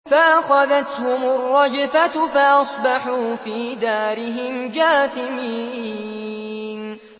فَأَخَذَتْهُمُ الرَّجْفَةُ فَأَصْبَحُوا فِي دَارِهِمْ جَاثِمِينَ